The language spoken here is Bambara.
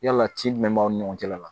Yala ci jumɛn b'aw ni ɲɔgɔn cɛla la